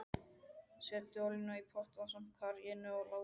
Setjið olíuna í pott ásamt karríinu og látið krauma.